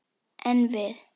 En við!